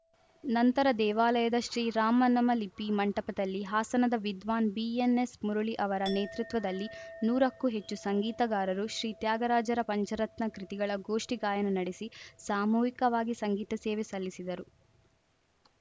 ನಂತರ ದೇವಾಲಯದ ಶ್ರೀರಾಮನಾಮಲಿಪಿ ಮಂಟಪದಲ್ಲಿ ಹಾಸನದ ವಿದ್ವಾನ್‌ ಬಿಎನ್‌ಎಸ್‌ ಮುರಳಿ ಅವರ ನೇತೃತ್ವದಲ್ಲಿ ನೂರಕ್ಕೂ ಹೆಚ್ಚು ಸಂಗೀತಗಾರರು ಶ್ರೀ ತ್ಯಾಗರಾಜರ ಪಂಚರತ್ನ ಕೃತಿಗಳ ಗೋಷ್ಠಿ ಗಾಯನ ನಡೆಸಿ ಸಾಮೂಹಿಕವಾಗಿ ಸಂಗೀತ ಸೇವೆ ಸಲ್ಲಿಸಿದರು